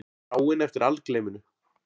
Þráin eftir algleyminu.